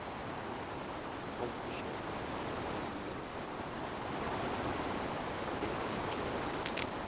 omfushane wazizwa efikelwa